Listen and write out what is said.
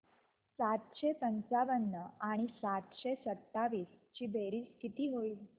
सातशे पंचावन्न आणि सातशे सत्तावीस ची बेरीज किती होईल